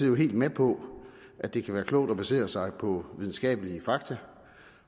jo helt med på at det kan være klogt at basere sig på videnskabelige fakta